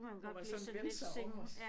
Kunne man sådan vende sig om og